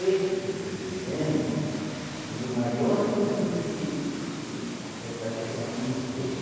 Esse que eu estou lhe dizendo, foi o maior novilho que que essa região conheceu.